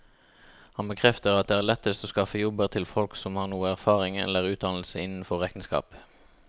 Han bekrefter at det er lettest å skaffe jobber til folk som har noe erfaring eller utdannelse innenfor regnskap.